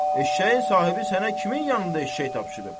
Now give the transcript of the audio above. Eşşəyin sahibi sənə kimin yanında eşşək tapşırıb?